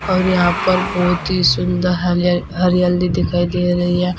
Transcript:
और यहाँ पर बहुत ही सुंदर हरियाली दिखाई दे रही है।